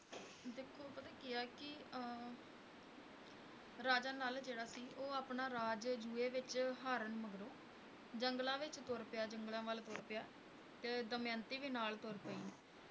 ਦੇਖੋ ਪਤਾ ਕੀ ਹੈ ਕਿ ਰਾਜਾ ਨਲ ਜਿਹੜਾ ਸੀ ਓਹੋ ਆਪਣਾ ਰਾਜ ਜੂਏ ਵਿੱਚ ਹਾਰਨ ਮਗਰੋੰ ਜੰਗਲਾਂ ਵਿੱਚ ਤੁਰ ਪਿਆ ਜੰਗਲਾਂ ਵੱਲ ਤੁਰ ਤੁਰ ਪਿਆ ਤੇ ਦਮਿਯੰਤੀ ਵੀ ਨਾਲ ਤੁਰ ਪਈ